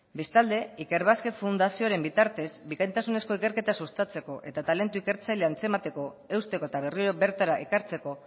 bestalde ikerbasque fundazioaren bitartez bikaintasunezko ikerketa sustatzeko eta talentu ikertzailea antzemateko eusteko eta berriro bertara ekartzeko